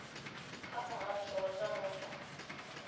kha muhasho wa zwa mupo